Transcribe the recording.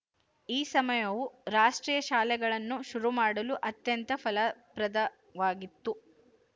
ಈ ಸಮಯವು ರಾಷ್ಟ್ರೀಯ ಶಾಲೆಗಳನ್ನು ಶುರು ಮಾಡಲು ಅತ್ಯಂತ ಫಲಪ್ರದವಾಗಿತ್ತು